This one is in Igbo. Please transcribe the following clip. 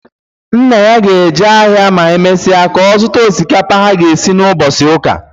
Nna ya ga-eje ahịa ma e mesịa ka ọ zụta osikapa ha ga-esi n'ụbọchị ụka